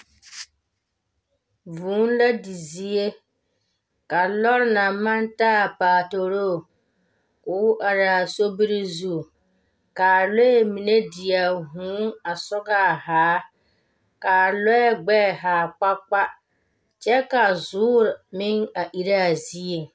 Vũũ la di zie, ka lͻre naŋ maŋ taa a paatoroo koo are a soriŋ zu ka lͻͻ mine die vũũ a sͻgaa zaa. Kaa lͻԑ gbԑԑ haa kpakpa kyԑ ka zoore meŋ a erԑ a zieŋ.